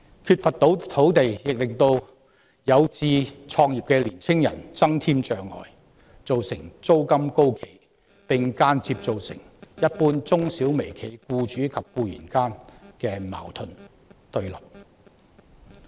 缺乏土地亦為有志創業的青年人增添障礙，造成租金高企，並間接造成一般中小微企僱主與僱員間的矛盾和對立。